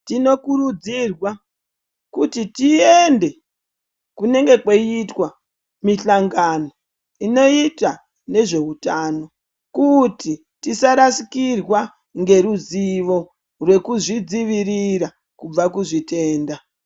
Tinokurudzirwa kuti tiende kunenge kweyiitwa mihlangano inoita nezveutano, kuti tisarasikirwa ngeruzivo rwekuzvidziwirira kubva kuzvitenda.